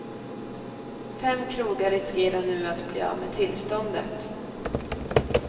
Fem krogar riskerar nu att bli av med tillståndet.